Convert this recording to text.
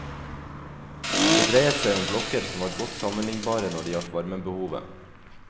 Det dreiet seg om blokker som var godt sammenlignbare når det gjaldt varmebehovet.